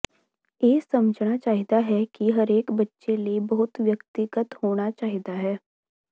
ਇਹ ਸਮਝਣਾ ਚਾਹੀਦਾ ਹੈ ਕਿ ਹਰੇਕ ਬੱਚੇ ਲਈ ਪਹੁੰਚ ਵਿਅਕਤੀਗਤ ਹੋਣਾ ਚਾਹੀਦਾ ਹੈ